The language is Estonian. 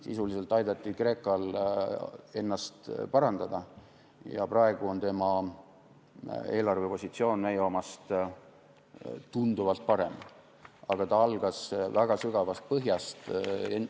Sisuliselt aidati Kreekal ennast parandada ja praegu on tema eelarvepositsioon meie omast tunduvalt parem, aga ta alustas väga sügavast põhjast.